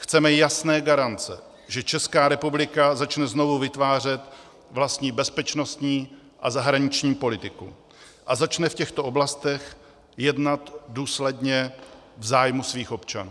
Chceme jasné garance, že Česká republika začne znovu vytvářet vlastní bezpečnostní a zahraniční politiku a začne v těchto oblastech jednat důsledně v zájmu svých občanů.